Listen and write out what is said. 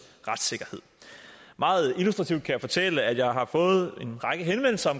retssikkerhed meget illustrativt kan jeg fortælle at jeg har fået en række henvendelser